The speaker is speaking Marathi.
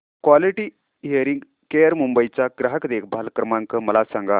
क्वालिटी हियरिंग केअर मुंबई चा ग्राहक देखभाल क्रमांक मला सांगा